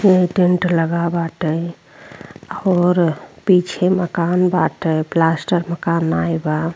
Tent लगा बाटे और पीछे मकान बाटे। प्लास्टर के मकान नाही बा।